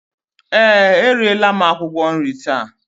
Ee, eriela m akwụkwọ nri taa